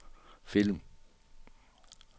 film